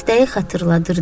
Dəstəyi xatırladırdı.